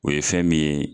O ye fɛn min ye